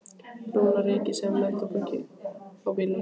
Brúna rykið sem neftóbak á bílnum.